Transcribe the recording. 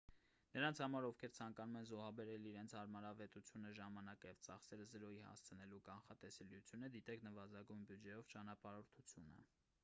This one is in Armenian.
նրանց համար ովքեր ցանկանում են զոհաբերել իրենց հարմարավետությունը ժամանակը և ծախսերը զրոյի հասցնելու կանխատեսելիությունը դիտեք նվազագույն բյուջեով ճանապարհորդությունը